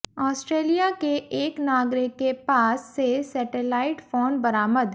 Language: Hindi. ऑस्ट्रेलिया के एक नागरिक के पास से सेटेलाईट फोन बरामद